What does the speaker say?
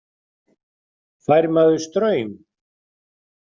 Fær maður straum?